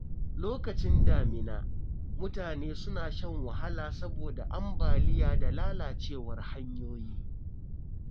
Lokacin damina, mutane suna shan wahala saboda ambaliya da lalacewar hanyoyi.